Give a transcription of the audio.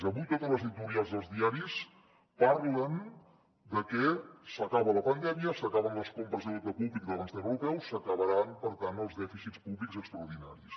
avui tots els editorials dels diaris parlen de que s’acaba la pandèmia s’acaben les compres de deute públic del banc central europeu s’acabaran per tant els dèficits públics extraordinaris